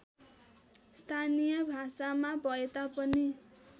स्थानीय भाषामा भएतापनि